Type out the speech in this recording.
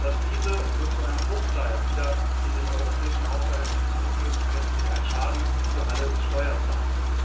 Dass diese nur zu einem Bruchteil wieder in den europäischen Haushalt zurückfließen, ist letztlich ein Schaden für alle Steuerzahler.